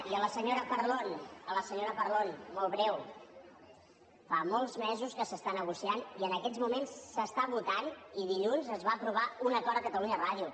i a la senyora parlon a la senyora parlon molt breu fa molts mesos que s’està negociant i en aquests moments s’està votant i dilluns es va aprovar un acord a catalunya ràdio